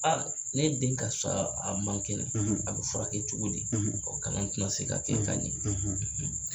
ne den karisa a man kɛnɛ a bi furakɛ cogo di ? kalan tina se ka kɛ ka ɲɛ